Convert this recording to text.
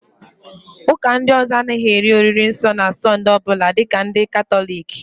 Ụ́kà ndị ọzọ a naghị eri oriri nsọ na Sọnde ọbụla dịka ndị Katọliki